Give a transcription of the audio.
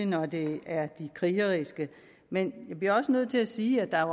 når det er de krigeriske men jeg bliver også nødt til at sige at der